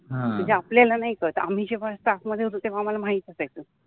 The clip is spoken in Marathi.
म्हनजे आपल्याला नाहि कळत, आम्हि जेव्हा स्टाफ मधे होतो तेव्हा आम्हाला माहित असायच